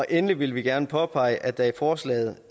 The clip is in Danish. endelig vil vi gerne påpege at der i forslaget